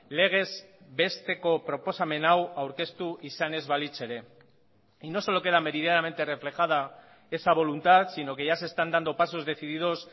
legezbesteko proposamen hau aurkeztu izan ez balitz ere y no solo queda meridianamente reflejada esa voluntad sino que ya se están dando pasos decididos